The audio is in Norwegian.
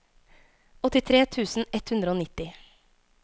åttitre tusen ett hundre og nitti